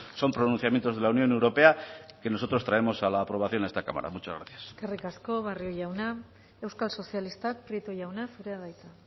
son pronunciamientos de la unión europea que nosotros traemos a la aprobación a esta cámara muchas gracias eskerrik asko barrio jauna euskal sozialistak prieto jauna zurea da hitza